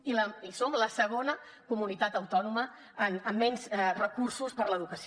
i som la segona comunitat autònoma amb menys recursos per a l’educació